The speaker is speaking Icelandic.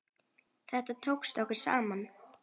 Þetta tókst okkur saman.